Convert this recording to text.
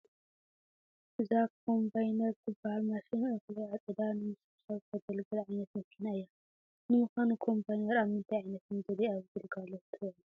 እዛ ኮምባይነር ትበሃል ማሽን እኽሊ ዓፂዳ ንምስብሳብ ተግልግል ዓይነት መኪና እያ፡፡ ንምዃኑ ኮምባይነር ኣብ ምንታይ ዓይነት ምድሪ ኣብ ግልጋሎት ትውዕል?